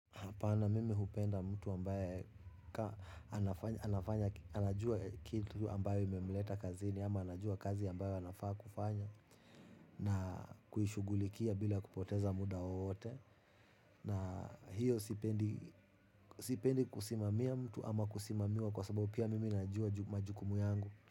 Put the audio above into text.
Hapana mimi hupenda mtu ambaye anajua kitu ambayo imemleta kazini ama anajua kazi ambayo anafaa kufanya na kuishugulikia bila kupoteza muda wowote. Na hiyo sipendi kusimamia mtu ama kusimamiwa kwa sababu pia mimi najua majukumu yangu.